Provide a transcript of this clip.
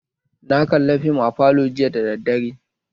Na kalla fim a falo jiya da daddare